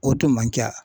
O tun man ca